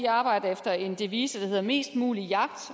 arbejder efter en devise der hedder mest mulig jagt